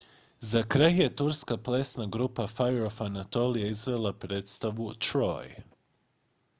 "za kraj je turska plesna grupa fire of anatolia izvela predstavu "troy"".